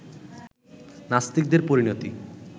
নাস্তিকদের পরিণতি